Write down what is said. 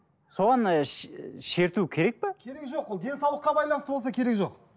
соған ы шерту керек пе керегі жоқ ол денсаулыққа байланысты болса керегі жоқ